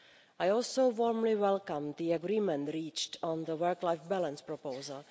I also warmly welcome the agreement reached on the work-life balance proposal.